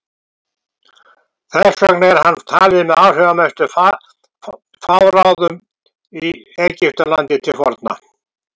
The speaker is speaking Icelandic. þess vegna er hann talinn með áhrifamestu faraóum í egyptalandi til forna